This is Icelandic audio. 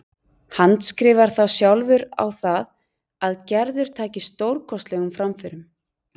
Handskrifar þá sjálfur á það að Gerður taki stórkostlegum framförum.